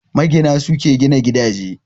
Magina, su ke gina gidaje.